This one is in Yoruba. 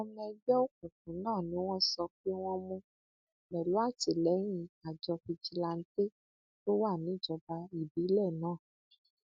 àwọn ọmọ ẹgbẹ òkùnkùn náà ni wọn sọ pé wọn mú pẹlú àtìlẹyìn àjọ fìjìláńtẹ tó wà níjọba ìbílẹ náà